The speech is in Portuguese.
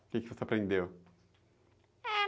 O que você aprendeu?